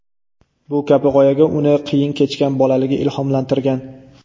Bu kabi g‘oyaga uni qiyin kechgan bolaligi ilhomlantirgan.